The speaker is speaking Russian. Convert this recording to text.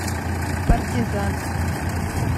партизанск